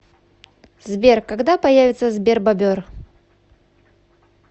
сбер когда появится сбербобер